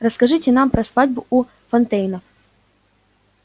расскажите нам про свадьбу у фонтейнов